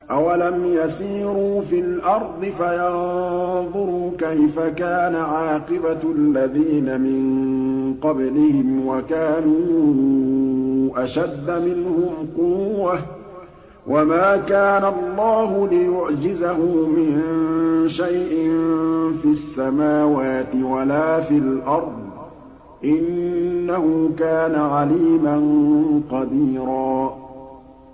أَوَلَمْ يَسِيرُوا فِي الْأَرْضِ فَيَنظُرُوا كَيْفَ كَانَ عَاقِبَةُ الَّذِينَ مِن قَبْلِهِمْ وَكَانُوا أَشَدَّ مِنْهُمْ قُوَّةً ۚ وَمَا كَانَ اللَّهُ لِيُعْجِزَهُ مِن شَيْءٍ فِي السَّمَاوَاتِ وَلَا فِي الْأَرْضِ ۚ إِنَّهُ كَانَ عَلِيمًا قَدِيرًا